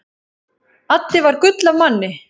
Addi var gull af manni.